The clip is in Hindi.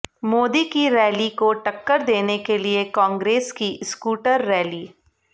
मोदी की रैली को टक्कर देने के लिए कांग्रेस की स्कूटर रैली